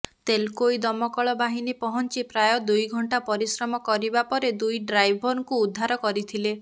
ତେଲକୋଇ ଦମକଳ ବାହିନୀ ପହଞ୍ଚି ପ୍ରାୟ ଦୁଇ ଘଣ୍ଟା ପରିଶ୍ରମ କରିବା ପରେ ଦୁଇ ଡ୍ରାଇଭରଙ୍କୁ ଉଦ୍ଧାର କରିଥିଲେ